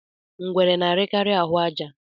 Ngwere na-arikari ahụ àjà